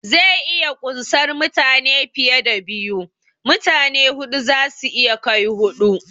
Zai iya kunsar mutane fiye da biyu, mutane huɗu zasu iya kai huɗu